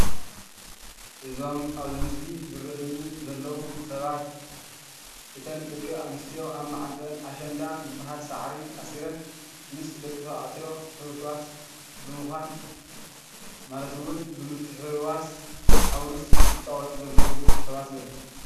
እዞም ኣብዚ ምስሊ ዝረኣይኒ ዘለው ሰባት እተን ደቂ ኣንስትዮ ኣብ ማዓንጠአን ኣሸንዳ ዝበሃል ሳዕሪ ኣሲረን ምስ ደቂ ተባዕትዮ ሕውስዋስ ብምኳን ማለት እውን ብምትሕውዋስ ኣውርስ ዝጫወቱ ዘለው ሰባት እዮም።